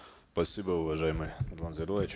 спасибо уважаемый нурлан зайроллаевич